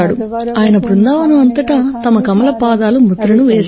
ఆయన బృందావనం అంతటా తన కమల పాదాల ముద్రను వేస్తారు